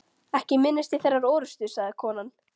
Ekki minnist ég þeirrar orustu, sagði konan.